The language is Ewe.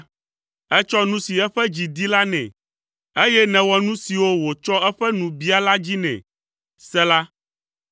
Ètsɔ nu si eƒe dzi di la nɛ, eye nèwɔ nu siwo wòtsɔ eƒe nu bia la dzi nɛ. Sela